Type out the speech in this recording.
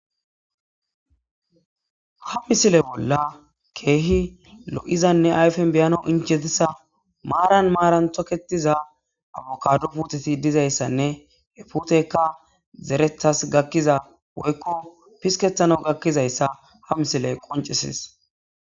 ha misile bolla keehi lo7izanne ayfen beyano inchetisa maaran maaran toketiza awokaado puteti dizayssanne he putekka zerethas gakkiza woykko pisketano gakkizayssa ha misile qoncesis